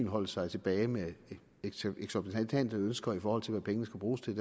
holde sig tilbage med eksorbitante ønsker i forhold til hvad pengene skal bruges til